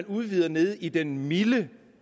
udvider nede i den milde